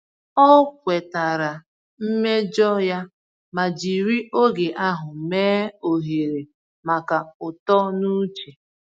Ọ kwetara mmejọ ya ma jiri oge ahụ mee ohere maka uto n’uche.